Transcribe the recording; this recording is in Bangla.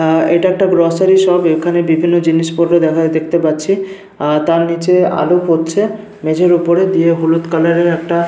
আহ এটা একটা গ্রোসারি শপ এখানে বিভিন্ন জিনিসপত্র দেখা দেখতে পাচ্ছি আর তার নিচে আলো পড়ছে মেঝের ওপরে দিয়ে হলুদ কালার এর একটা--